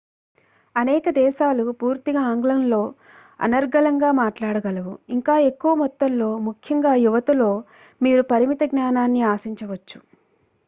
అనేక దేశాలు పూర్తిగా ఆంగ్లంలో అనర్గళంగా మాట్లాడగలవు ఇంకా ఎక్కువ మొత్తంలో ముఖ్యంగా యువతలో.మీరు పరిమిత జ్ఞానాన్ని ఆశించవచ్చు